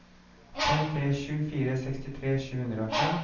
fem tre sju fire sekstitre sju hundre og fem